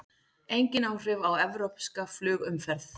Engin áhrif á evrópska flugumferð